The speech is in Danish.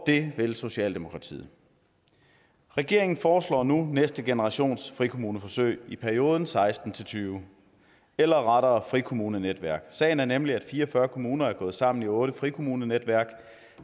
det vil socialdemokratiet regeringen foreslår nu næste generations frikommuneforsøg i perioden seksten til tyve eller rettere frikommunenetværk sagen er nemlig at fire og fyrre kommuner er gået sammen i otte frikommunenetværk